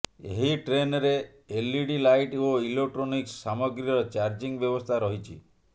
ଏହି ଟ୍ରେନ୍ରେ LED light ଓ ଇଲେକ୍ଟୋନିକ୍ସ ସାମଗ୍ରୀର ଚାର୍ଜିଂ ବ୍ୟବସ୍ଥା ରହିଛି